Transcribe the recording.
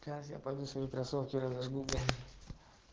сейчас я пойду свои кроссовки разожгу бля